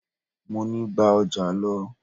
Mọ ní: gba ọjà lọ!